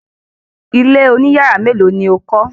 Ilé oní yàrá mélòó ni o kọ́?